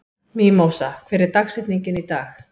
Mímósa, hver er dagsetningin í dag?